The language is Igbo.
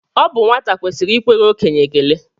Ọ bụ nwata kwesịrị ikwere okenye ekele